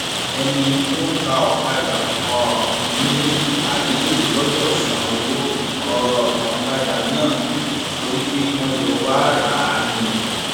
ẹni tó ń ta ọkadà um ní aliyu gbọdọ san owó um ọkadà náà torí pé wọn jọ wàá rà á ni